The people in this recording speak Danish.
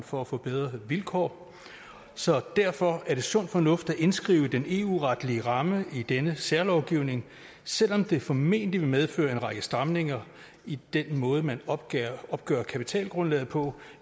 for at få bedre vilkår så derfor er det sund fornuft at indskrive den eu retlige ramme i denne særlovgivning selv om det formentlig vil medføre en række stramninger i den måde man opgør opgør kapitalgrundlaget på